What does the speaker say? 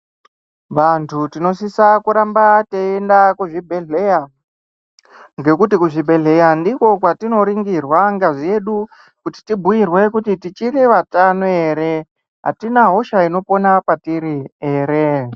Vantu tinosisa kuramba teienda kuzvibhedhleya. Ngekuti kuzvibhedhleya ndiko kwatinorungirwa ngazi yedu. Kuti tibhuirwe kuti tichiri vatano ere, hatina hosha inopena patiri ere.